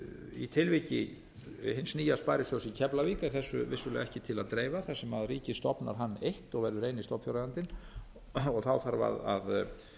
í tilviki hins nýja sparisjóðs í keflavík er þessu vissulega ekki til að dreifa þar sem ríkið stofnar hann eitt og verður eini stofnfjáreigandinn þarf að